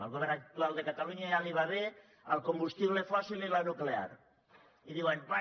al go vern actual de catalunya ja li va bé el combustible fòssil i la nuclear i diuen bé